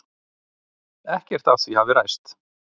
Ekkert af því hafi ræst.